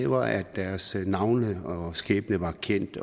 var at deres navne og skæbne var kendt